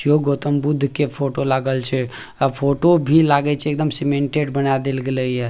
इ यो गौतम बुद्ध के फोटो लागल छै आ फोटो भी लागई छै एकदम सीमेंटेड बना देल गेलइय।